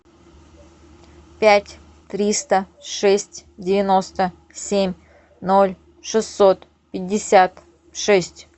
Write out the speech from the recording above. пять триста шесть девяносто семь ноль шестьсот пятьдесят шесть